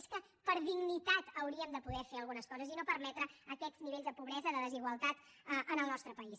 és que per dignitat hauríem de poder fer algunes coses i no permetre aquests nivells de pobresa de desigualtat en el nostre país